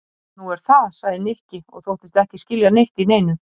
Nú, er það? sagði Nikki og þóttist ekki skilja neitt í neinu.